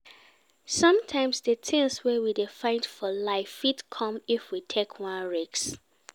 Sometimes di thing wey we dey find for life fit come if we take one risk